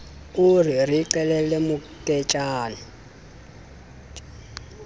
o re re qhelele moketjana